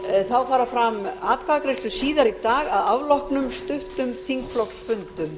þá fara fram atkvæðagreiðslur síðar í dag að afloknum stuttum þingflokksfundum